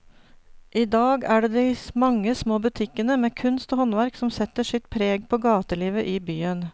I dag er det de mange små butikkene med kunst og håndverk som setter sitt preg på gatelivet i byen.